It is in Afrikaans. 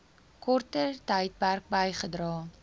korter tydperk bygedra